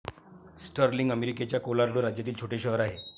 Sterling अमेरिकेच्या Colorado राज्यातील छोटे शहर आहे.